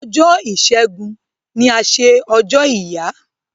Ọjọ́ Ìṣégun ni a ṣe ọjọ́ ìyá.